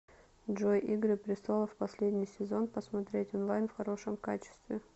джой игры престолов последний сезон посмотреть онлайн в хорошем качестве